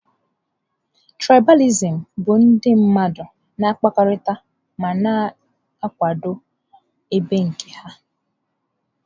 Trịbalìsịm bụ ndị mmadụ na-akpakọrịta ma na-akwado ebo nke ha.